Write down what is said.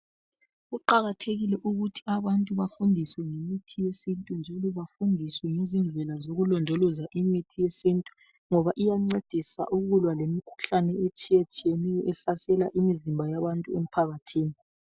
Kuqakathekile ukuthi abantu bafundiswe ngemithi yesintu njalo bafundiswe ngezindlela zokulondoloza imithi yesintu ngoba iyancedisa ukulwa lemikhuhlane etshiyetshiyeneyo ehlasela imizimba yabantu emphakathini.